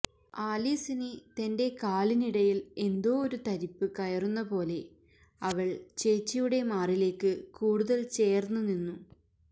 ആലീസിന് തന്റെ കാലിന്നിടയിൽ എന്തോ ഒരു തരിപ്പ് കയറുന്ന പോലെ അവൾ ചേച്ചിയുടെ മാറിലേക്ക് കൂടുതൽ ചേർന്ന് നിന്നു